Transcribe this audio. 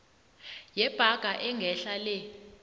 yebhaga engehla le